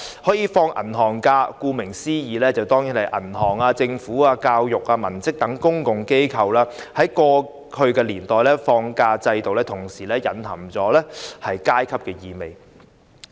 可以放取銀行假期的人，顧名思義當然是銀行、政府、教育機關等公共機構的文職人員，在過去的年代，放假制度同時隱含了階級意味。